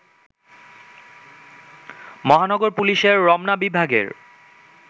মহানগর পুলিশের রমনা বিভাগের